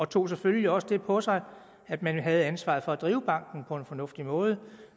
tog selvfølgelig også det på sig at man havde ansvaret for at drive banken på en fornuftig måde